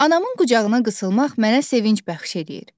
Anamın qucağına qısılmaq mənə sevinc bəxş eləyir.